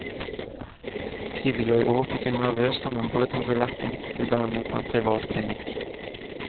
Tidligere i år fikk hun nervøst sammenbrudd og ble lagt inn til behandling på en privat klinikk.